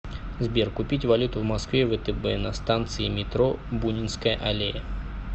сбер купить валюту в москве втб на станции метро бунинская аллея